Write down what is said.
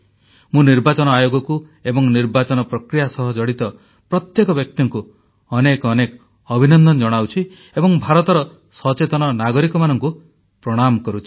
ମୁଁ ନିର୍ବାଚନ ଆୟୋଗକୁ ଏବଂ ନିର୍ବାଚନ ପ୍ରକ୍ରିୟା ସହ ଜଡ଼ିତ ପ୍ରତ୍ୟେକ ବ୍ୟକ୍ତିଙ୍କୁ ଅନେକ ଅନେକ ଅଭିନନ୍ଦନ ଜଣାଉଛି ଏବଂ ଭାରତର ସଚେତନ ନାଗରିକମାନଙ୍କୁ ପ୍ରଣାମ କରୁଛି